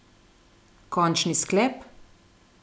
Končni sklep?